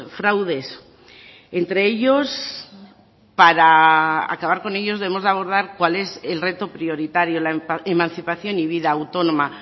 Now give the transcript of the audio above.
fraudes entre ellos para acabar con ellos debemos de abordar cuál es el reto prioritario la emancipación y vida autónoma